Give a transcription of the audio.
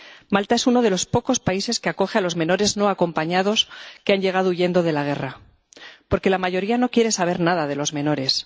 Malta es uno de los pocos países que acoge a los menores no acompañados que han llegado huyendo de la guerra, porque la mayoría no quiere saber nada de los menores.